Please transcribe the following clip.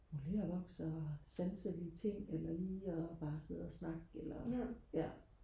modelervoks og sanselige ting eller lige og bare sidde og snakke eller ja